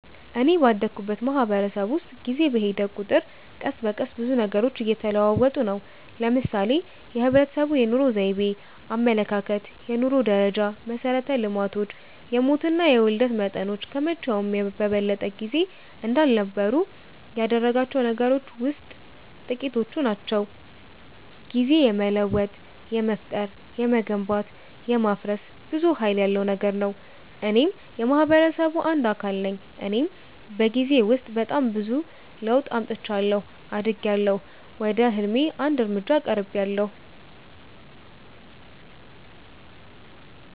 እኔ ባደኩበት ማህበረሰብ ውስጥ ጊዜ በሔደ ቁጥር ቀስ በቀስ ብዙ ነገሮች እየተለወጡ ነው። ለምሳሌ የህብረተሰቡ የኑሮ ዘይቤ፣ አመለካከት፣ የኑሮ ደረጃ፣ መሠረተ ልማቶች፣ የሞትና የውልደት መጠኖች ከመቼውም በበለጠ ጊዜ እንዳልነበሩ ያደረጋቸው ነገሮች ውሥጥ ጥቂቶቹ ናቸው። ጊዜ የመለወጥ፣ የመፍጠር፣ የመገንባት፣ የማፍረስ ብዙ ሀይል ያለው ነገር ነው። እኔም የማህበረሰቡ አንድ አካል ነኝ እኔም በጊዜ ውስጥ በጣም ብዙ ለውጥ አምጥቻለሁ። አድጊያለሁ፣ ወደ ህልሜ አንድ እርምጃ ቀርቤያለሁ።